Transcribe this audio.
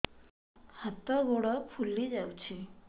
ହାତ ଗୋଡ଼ ଫୁଲି ଯାଉଛି